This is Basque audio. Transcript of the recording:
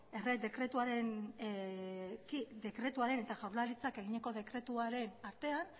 errege dekretuaren eta jaurlaritzak eginiko dekretuaren artean